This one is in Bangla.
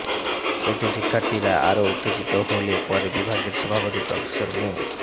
এতে শিক্ষার্থীরা আরও উত্তেজিত হলে পরে বিভাগের সভাপতি প্রফেসর মো